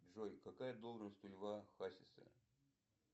джой какая должность у льва хасиса